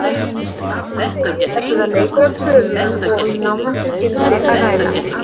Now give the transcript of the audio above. Eins og áður segir er þetta leikur að tölum og um námunduð gildi að ræða.